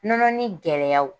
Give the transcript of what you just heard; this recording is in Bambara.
Nɔnɔnin gɛlɛyaw